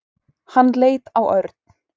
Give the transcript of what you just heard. Hann leit á Örn.